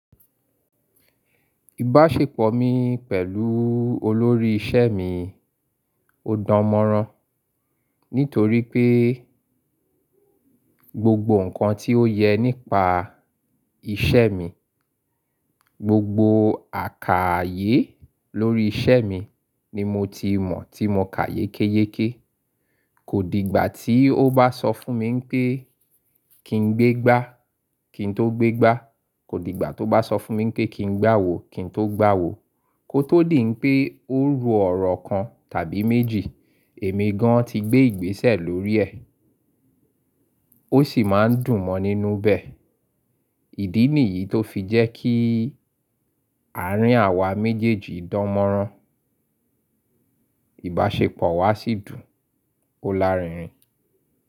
Ìbáṣepọ̀ mi pẹ̀lú olórí iṣẹ́ mi ó dán mọ́rán, nítorí pé gbogbo ǹkan tí ó yẹ nípa iṣẹ́ mi, gbogbo àkààyè lórí iṣẹ́ mi ni mo ti mọ̀ tí mo ka ye keye ke. Kò di ìgbà tí ó bá sọ fún mi wípé kí n gbé gbá kí n tó gbé gbá, kò di ìgbà tó bá sọ fún mi pé kí n gbá awo kí n tó gbá awo. Kó tó dì n pé ó ro ọ̀rọ̀ kan tàbí méjì, èmi gan ti gbé ìgbésẹ̀ lórí ẹ̀. Ó sì máa ń dùn mọ́ nínú bẹ̀. Ìdí nìyí tó fi jẹ́ kí àárín àwa méjèèjì dánmọ́rán. Ìbáṣepọ̀ wa sì dùn ó lárinrin.